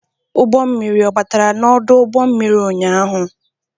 Ụgbọ mmiri ọbatara n'ọdụ ụgbọ mmiri ụnyaahụ?